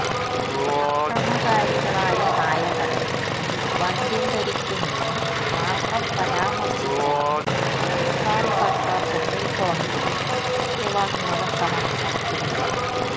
അക്രമകാരികളായ നായകളെ വന്ധ്യംകരിക്കുമെന്ന് മാത്രം പരാമര്ശിച്ചാണ് സംസ്ഥാന സര്ക്കാര് സുപ്രീംകോടതിയില് സത്യവാങ്മൂലം സമര്പ്പിച്ചിരുന്നത്